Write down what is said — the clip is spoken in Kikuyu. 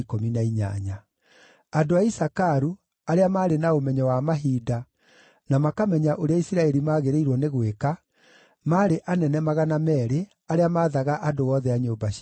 andũ a Isakaru, arĩa maarĩ na ũmenyo wa mahinda, na makamenya ũrĩa Isiraeli magĩrĩirwo nĩ gwĩka, maarĩ anene 200 arĩa maathaga andũ othe a nyũmba ciao;